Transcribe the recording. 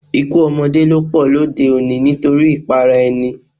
Ikú ọmọdé ló pọ lóde-òní nítorí ìpara-ẹni.